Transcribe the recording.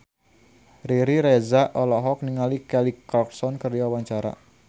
Riri Reza olohok ningali Kelly Clarkson keur diwawancara